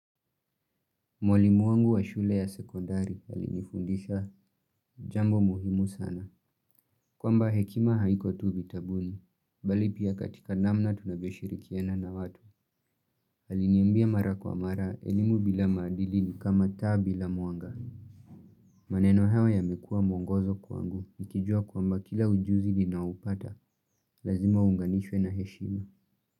Mwalimu wangu wa shule ya sekodari alinifundisha jambo muhimu sana. Kwamba hekima haiko tu vitabuni, bali pia katika namna tunavyoshirikiana na watu. Aliniambia mara kwa mara, elimu bila maandili ni kama tabi la muanga. Maneno hayo yamekua mwongozo kwangu, nikijua kwamba kila ujuzi ninaoupata, lazima unganishwe na heshima.